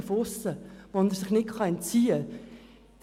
Diesen Zuschreibungen kann er sich nicht entziehen.